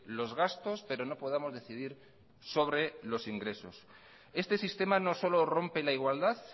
los gastos pero no podamos decidir sobre los ingresos este sistema no solo rompe la igualdad